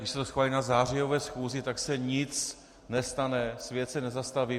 Když se to schválí na zářijové schůzi, tak se nic nestane, svět se nezastaví.